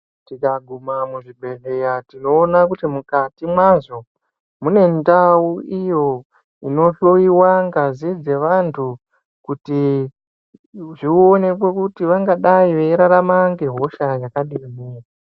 Tikaguma muzvibhedhlera tinoona kuti mukati mwazvo mune ndau iyo inohloiwa ngazi dzevantu kuti zvionekwe kuti vangadai veirarama ngehosha yakadini.